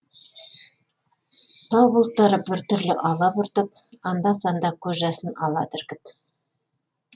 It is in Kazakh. тау бұлттары біртүрлі алабұртып анда санда көз жасын алады іркіп